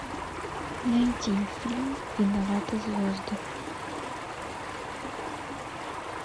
найди фильм виноваты звезды